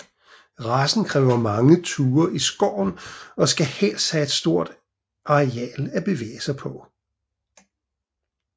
Racen kræver mange ture i skoven og skal helst have et stort areal at bevæge sig på